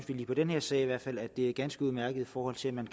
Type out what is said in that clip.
i den her sag i hvert fald synes at det er ganske udmærket i forhold til at man